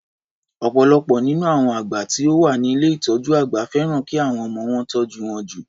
Ọ̀pọ̀lọpọ̀ nínú àwọn àgbà tí ó wá ni ilé ìtọjú àgbà fẹ́ràn ki àwọn ọmọ wọn tọ́jú wọn jù.